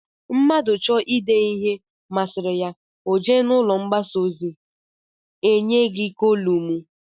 Mmadụ chọọ ịde ihe masịrị ya, o jee n'ụlọ mgbasa ozi, e nye gị kolụmụi